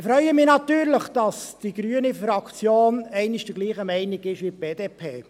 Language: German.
Ich freue mich natürlich, dass die Fraktion Grüne einmal derselben Meinung ist wie die BDP.